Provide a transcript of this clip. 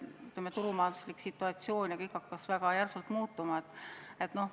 Aga turumajanduslik situatsioon hakkas väga järsult muutuma.